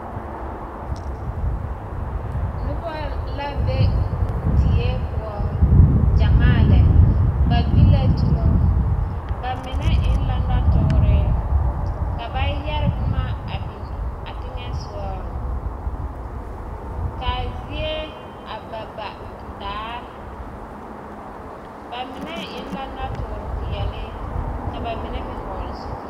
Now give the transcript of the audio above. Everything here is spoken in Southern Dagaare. Noba la be die poɔ gyɛmaa lɛ ba gbi la dumo bamine eŋ la nɔtoore ka ba yɛre boma a biŋ a teŋɛsogɔ ka a zie a ba ba daare bamine eŋ la nɔtoore peɛle ka bamine meŋ hɔɔle zupile.